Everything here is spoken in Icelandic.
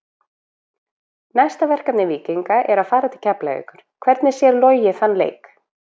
Næsta verkefni Víkinga er að fara til Keflavíkur, hvernig sér Logi þann leik?